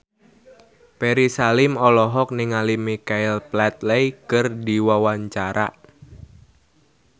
Ferry Salim olohok ningali Michael Flatley keur diwawancara